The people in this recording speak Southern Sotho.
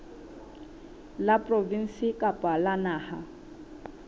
la provinse kapa la naha